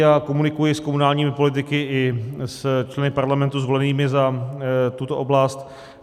Já komunikuji s komunálními politiky i s členy Parlamentu zvolenými za tuto oblast.